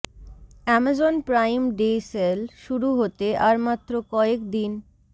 Amazon Prime Day sale শুরু হতে আর মাত্র কয়েক দিন